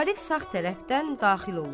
Arif sağ tərəfdən daxil olur.